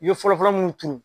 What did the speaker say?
I ye fɔlɔfɔlɔ mun turu